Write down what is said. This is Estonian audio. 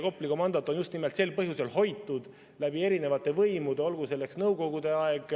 Kopli komandot on just nimelt sel põhjusel hoitud läbi erinevate võimude, ka Nõukogude ajal.